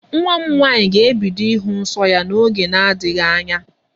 Nwa m nwaanyị ga-ebido ịhụ nsọ ya n'oge na-adịghị anya.